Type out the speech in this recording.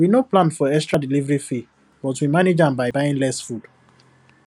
we no plan for extra delivery fee but we manage am by buying less food